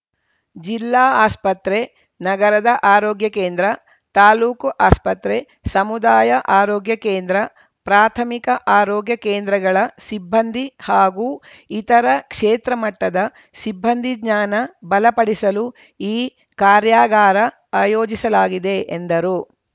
ಜಿಲ್ಲಾ ಆಸ್ಪತ್ರೆ ನಗರದ ಆರೋಗ್ಯ ಕೇಂದ್ರ ತಾಲೂಕು ಆಸ್ಪತ್ರೆ ಸಮುದಾಯ ಆರೋಗ್ಯ ಕೇಂದ್ರ ಪ್ರಾಥಮಿಕ ಆರೋಗ್ಯ ಕೇಂದ್ರಗಳ ಸಿಬ್ಬಂದಿ ಹಾಗೂ ಇತರ ಕ್ಷೇತ್ರ ಮಟ್ಟದ ಸಿಬ್ಬಂದಿ ಜ್ಞಾನ ಬಲಪಡಿಸಲು ಈ ಕಾರ್ಯಾಗಾರ ಆಯೋಜಿಸಲಾಗಿದೆ ಎಂದರು